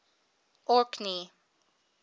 orkney